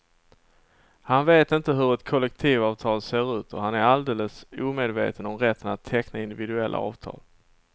Han vet inte hur ett kollektivavtal ser ut och han är alldeles omedveten om rätten att teckna individuella avtal.